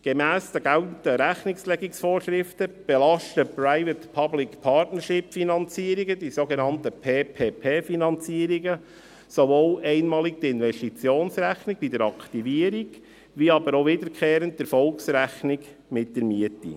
Gemäss den geltenden Rechnungslegungsvorschriften belasten die sogenannten PPP-Finanzierungen, sowohl einmalig die Investitionsrechnung bei der Aktivierung als auch wiederkehrend die Erfolgsrechnung mit der Miete.